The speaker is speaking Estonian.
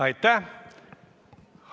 Aitäh!